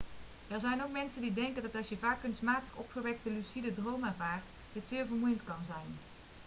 er zijn ook mensen die denken dat als je vaak kunstmatig opgewekte lucide dromen ervaart dit zeer vermoeiend kan zijn